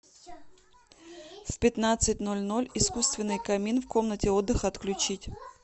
в пятнадцать ноль ноль искусственный камин в комнате отдыха отключить